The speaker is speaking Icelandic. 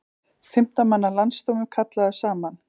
Fimmtán manna landsdómur kallaður saman